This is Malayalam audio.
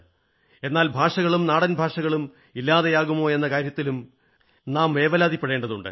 എന്നാൽ ഭാഷകളും നാടൻഭാഷകളും ഇല്ലാതെയാകുമോ എന്ന കാര്യത്തിലും നാം വേവലാതിപ്പെടേണ്ടതുണ്ട്